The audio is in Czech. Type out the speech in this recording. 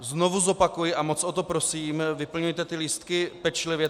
Znovu zopakuji a moc o to prosím, vyplňujte ty lístky pečlivě.